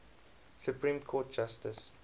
supreme court justice